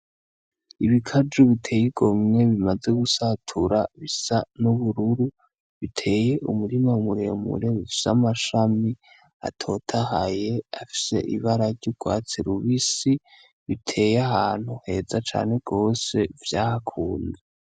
Ibikaju biteye igomwe bimaze gusatura bisa n'ubururu biteye umurima muremure ufise amashami atotahaye afise ibara ry'urwatsi rubisi biteye ahantu heza cane gose vyahakunze.